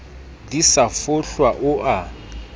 di sa fohlwa o a